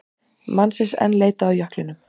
Mannsins enn leitað á jöklinum